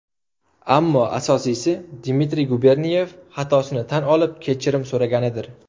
Ammo asosiysi Dmitriy Guberniyev xatosini tan olib, kechirim so‘raganidir.